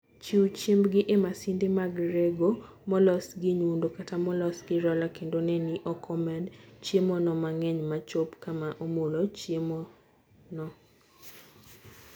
Chiw chiembgi e masinde mag rego molos gi nyundo kata molos gi roller, kendo ne ni ok omed chiemono mang'eny ma chop kama "omulo" chiemono.